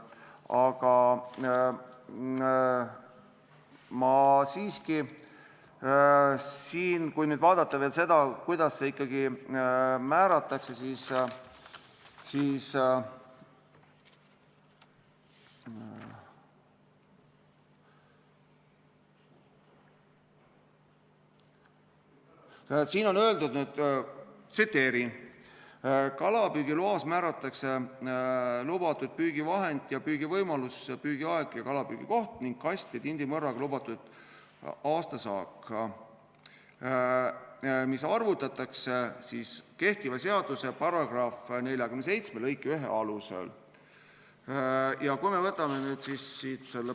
Aga kui vaadata veel seda, kuidas see ikkagi määratakse, siis siin on öeldud: "Kalapüügiloas määratakse lubatud püügivahend, püügivõimalus, püügiaeg ja kalapüügi koht ning kast- ja tindimõrraga lubatud aastasaak, ... mis arvutatakse kehtiva seaduse § 47 lõike 1 alusel ...